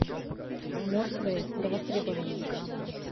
мертвые до востребования